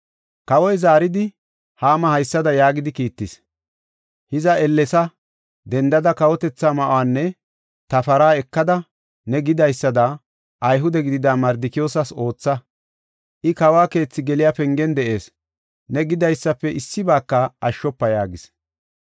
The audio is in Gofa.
Kawoy zaaridi, Haama haysada yaagidi kiittis; “Hiza ellesa dendada kawotetha ma7uwanne ta para ekada, ne gidaysada Ayhude gidida Mardikiyoosas ootha. I kawo keethi geliya pengen de7ees. Ne gidaysafe issibaaka ashshofa” yaagis.